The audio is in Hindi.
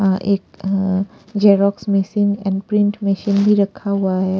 अ अ एक अ अ xerox machine and print machine भी रखा हुआ है।